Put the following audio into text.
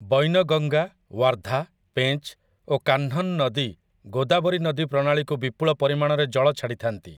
ବୈନଗଙ୍ଗା, ୱାର୍ଧା, ପେଞ୍ଚ୍, ଓ କାହ୍ନନ୍ ନଦୀ ଗୋଦାବରୀ ନଦୀ ପ୍ରଣାଳୀକୁ ବିପୁଳ ପରିମାଣରେ ଜଳ ଛାଡ଼ିଥାନ୍ତି ।